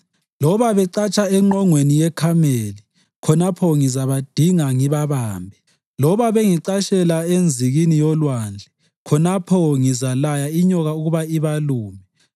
Loba becatsha engqongweni yeKhameli, khonapho ngizabadinga ngibabambe. Loba bengicatshela enzikini yolwandle, khonapho ngizalaya inyoka ukuba ibalume.